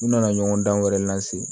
U nana ɲɔgɔn dan wɛrɛ lase